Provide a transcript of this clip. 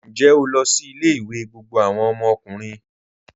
Ǹjẹ́ o lọ sí ilẹ̀-ìwé gbogbo awọn ọmọkùnrin?